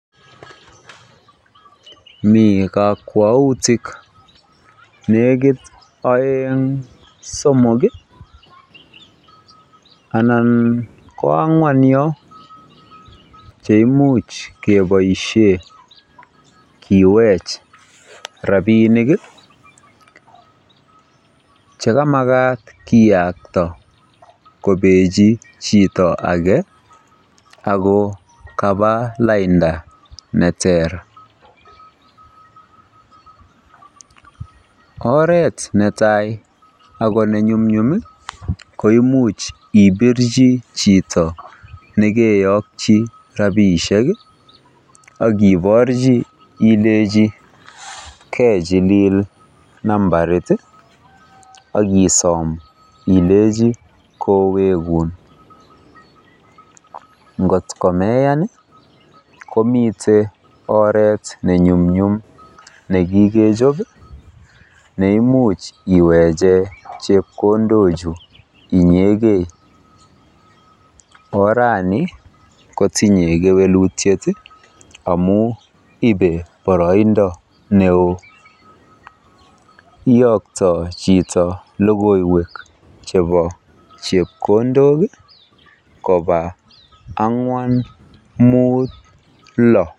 Mi kakwautik nekiit oeng somok anan ko ang'wan yo cheimuch keboisie kiweech rabiinik chekamakat kiyokto kobechi chito age ago kaba lainda neteer. Oret netai ako nenyumnyum ko imuch ibirji chito nekeyokyi rabiishek akiborji ileji kejiliil nambarit akisoom ileji kowekun. Ngot komeyan komite oret nenyumnyum nekikejob neimuch iweche chepkondok inyegei. Orani kotinye kewelutiet amo ibe boroindo neoo. Kiyoktoi logoiwek chebo chepkondok koba ang'wan muut lo.